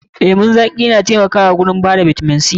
Lemon zaƙi na taimakawa wajen bada bitamin C.